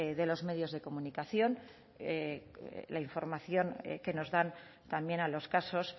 de los medios de comunicación la información que nos dan también a los casos